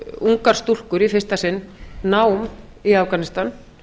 ungar stúlkur í fyrsta sinn nám í afganistan